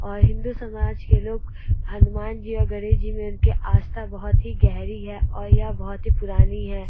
और हिन्दू समाज के लोग हनुमान जी और गणेश जी में उनकी आस्था बहोत ही गहरी है और यह बहोत ही पुरानी है।